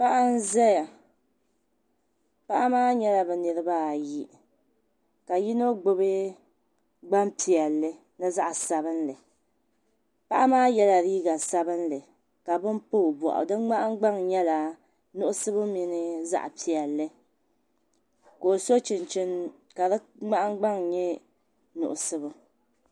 Paɣa n ʒɛya paɣaba maa nyɛla bi niraba ayi ka yino gbubi gbaŋ piɛlli ni zaɣ sabinli paɣa maa yɛla liiga sabinli ka bini pa o boɣu zuɣu di nahangbaŋ nyɛla zaɣ nuɣso mini zaɣ piɛlli ka o so chinchini ka di nahagbaŋ nyɛ nuɣso